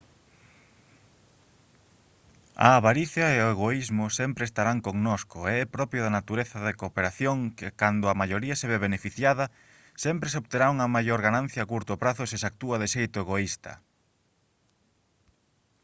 a avaricia e o egoísmo sempre estarán connosco e é propio da natureza da cooperación que cando a maioría se ve beneficiada sempre se obterá unha maior ganancia a curto prazo se se actúa de xeito egoísta